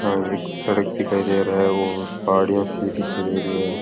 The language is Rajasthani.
या एक सड़क दिखाई दे रहा है पहाड़िया सी दिखाई दे रही है।